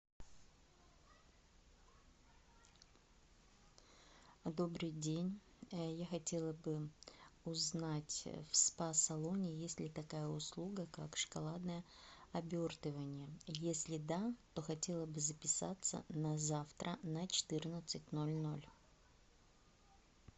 добрый день я хотела бы узнать в спа салоне есть ли такая услуга как шоколадное обертывание если да то хотела бы записаться на завтра на четырнадцать ноль ноль